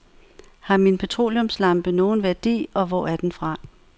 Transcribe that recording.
Har min petroleumslampe nogen værdi og hvor er den fra?